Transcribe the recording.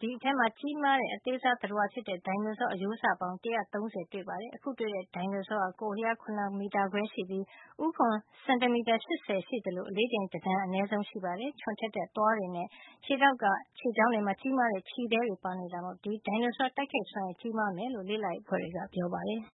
အဲဒီမှာ ကြီးမားတဲ့အသားစား သတ္တဝါဖြစ်တဲ့ ဒိုင်နိုဆော အရိုးစ ရုပ်ကြွင်းပေါင်း ၁၃၀ ကျော်တွေ့ရှိခဲ့ရပါတယ်။ အခုတွေ့ရှိတဲ့ ဒိုင်နိုဆောကတော့ ကိုယ်အလျား ၇ မီတာခွဲလောက်ရှိပြီး ဦးခွံက စင်တီမီတာ ၈၀ ရှိသလို အလေးချိန်က တတန်အနည်းဆုံး ရှိပါတယ်။ သူ့မှာ ချွန်ထက်တဲ့သွားတွေနဲ့ သူ့ခြေထောက်မှာရှိတဲ့ ခြေချောင်းတွေမှာ ကြီးမားတဲ့ခြေသဲတွေပါနေတာမို့ ဒီဒိုင်နိုဆောရဲ့ တိုက်ခိုက်နိုင်စွမ်းရည် ကြီးမားမယ်လို့ လေ့လာရေးအဖွဲ့တွေက ပြောပါတယ်။